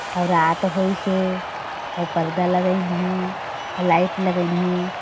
अउ रात होइस हें अउ पर्दा लगाइन हें अउ लगाइन हें।